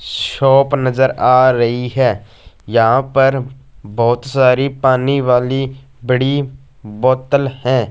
Shop नजर आ रही है यहां पर बहोत सारी पानी वाली बड़ी बोतल हैं।